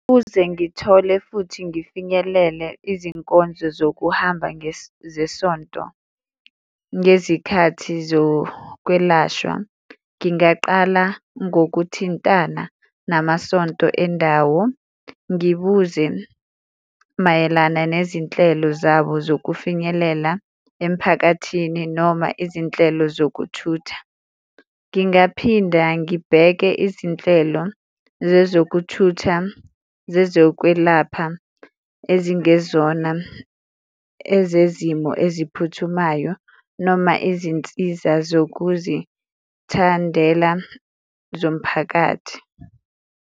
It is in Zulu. Ukuze ngithole futhi ngifinyelele izinkonzo zokuhamba zesonto, ngezikhathi zokwelashwa, ngingaqala ngokuthintana namasonto endawo ngibuze mayelana nezinhlelo zabo zokufinyelela emphakathini, noma izinhlelo zokuthutha. Ngingaphinda ngibheke izinhlelo zezokuthutha, zezokwelapha ezingezona ezezimo eziphuthumayo noma izinsiza zokuzithandela zomphakathi.